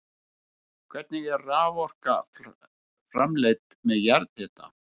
Hvernig er raforka framleidd með jarðhita?